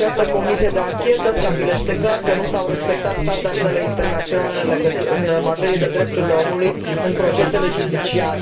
Dar această comisie de anchetă stabilește clar că nu s au respectat standardele internaționale în materie de drepturile omului în procesele judiciare.